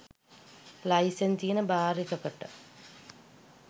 licence තියෙන bar එකකට